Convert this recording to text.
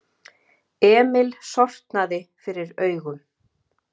Emil sortnaði fyrir augum.